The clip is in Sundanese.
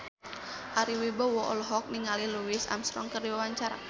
Ari Wibowo olohok ningali Louis Armstrong keur diwawancara